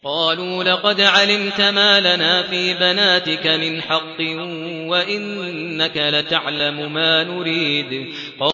قَالُوا لَقَدْ عَلِمْتَ مَا لَنَا فِي بَنَاتِكَ مِنْ حَقٍّ وَإِنَّكَ لَتَعْلَمُ مَا نُرِيدُ